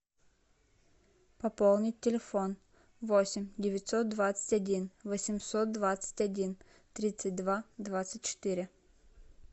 пополнить телефон восемь девятьсот двадцать один восемьсот двадцать один тридцать два двадцать четыре